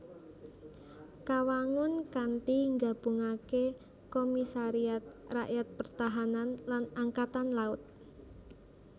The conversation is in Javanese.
Kawangun kanthi nggabungaké Komisariat Rakyat Pertahan lan Angkatan Laut